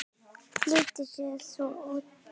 Flýtir sér svo út aftur svo að lögreglan sekti hann ekki.